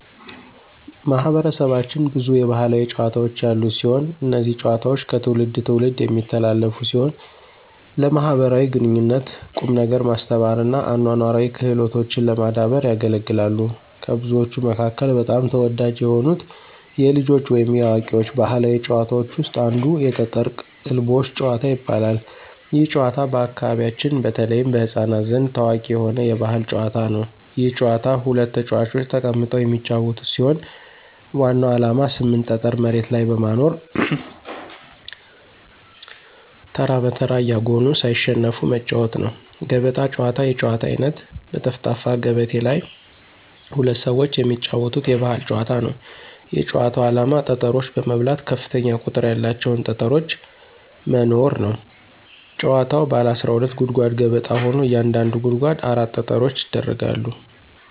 ማህበረሰባችን ብዙ የባህላዊ ጨዋታዎች ያሉት ሲሆን። እነዚህ ጨዋታዎች ከትውልድ ትውልድ የሚተላለፉ ሲሆን ለማኅበራዊ ግንኙነት፣ ቁም ነገር ማስተማር እና አኗኗራዊ ክህሎቶችን ለማዳበር ያገለግላሉ። ከብዙዎቹ መካከል በጣም ተወዳጅ የሆኑት የልጆች ወይም የአዋቂዎች ባህላዊ ጨዋታዎች ውስጥ አንዱ የጠጠር ቅልቦሽ ጭዋታ ይባላል። ይህ ጨዋታ በአካባቢያችን በተለይም በሕፃናት ዘንድ ታዋቂ የሆነ የባህል ጨዋታ ነው። ይህ ጨዋታ ሁለት ተጫዋቾች ተቀምጠው የሚጫወቱት ሲሆን ዋናው ዓላማ 8 ጠጠር መሬት ላይ በማኖር ተራ በተራ እያጎኑ ሳይሸነፉ መጫዎት ነው። ገበጣ ጨዋታ የጨዋታ አይነት በጠፍጣፋ ገበቴ ላይ ሁለት ሰዎች የሚጫወቱት የባህል ጨዋታ ነው። የጭዋታው አላማ ጠጠሮች በመብላት ከፍተኛ ቁጥር ያላቸውን ጠጠሮች መኖር ነው። ጭዋታዉ ባለ 12 ጉድጓድ ገበጣ ሆኖ እያንዳንዱ ጉድጓድ 4 ጠጠሮች ይደረጋሉ።